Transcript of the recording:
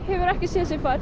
hefur ekkert